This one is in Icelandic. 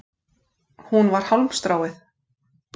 Hún var hálmstráið.